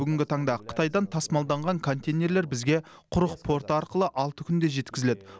бүгінгі таңда қытайдан тасымалданған контейнерлер бізге құрық порты арқылы алты күнде жеткізіледі